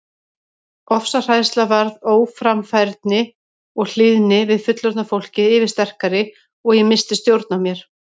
Ofsahræðsla varð óframfærni og hlýðni við fullorðna fólkið yfirsterkari og ég missti stjórn á mér.